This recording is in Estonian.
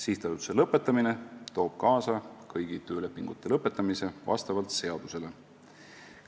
" Sihtasutuse lõpetamine toob kaasa kõigi töölepingute lõpetamise vastavalt seadusele.